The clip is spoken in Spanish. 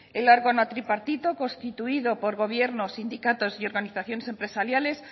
el órgano tripartito constituido por gobiernos sindicatos y organizaciones empresariales